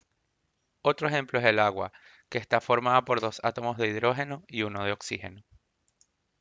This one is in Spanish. otro ejemplo es el agua que está formada por dos átomos de hidrógeno y uno de oxígeno